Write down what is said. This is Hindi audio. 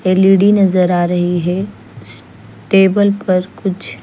एल_ई_डी नज़र आ रही है इस टेबल पर कुछ--